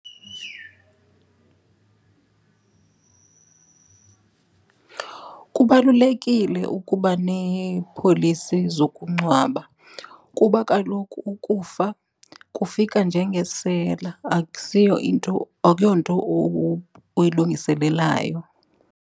Kubalulekile ukuba neepolisi zokungcwaba kuba kaloku ukufa kufika njengesela akusiyo, into akuyonto uyilungiselelayo.